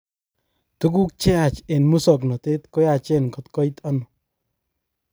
Tukuk cheyach eng musoknotet koyachen kot koit ano.